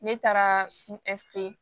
Ne taara nsige